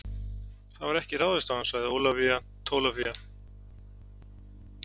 Það var ekki ráðist á hann, sagði Ólafía Tólafía.